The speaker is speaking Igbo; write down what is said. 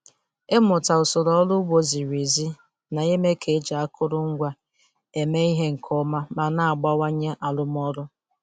Ịmụta usoro ọrụ ugbo ziri ezi na-eme ka e ji akụrụngwa eme ihe nke ọma ma na-abawanye arụmọrụ.